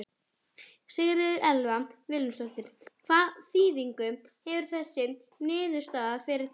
Sigríður Elva Vilhjálmsdóttir: Hvaða þýðingu hefur þessi niðurstaða fyrir Tal?